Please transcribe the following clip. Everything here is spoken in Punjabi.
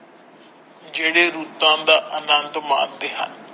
ਜਿਹੜੇ ਰੁੱਤਾਂ ਦਾ ਅਨੰਦ ਮਾਣਦੇ ਹਨ।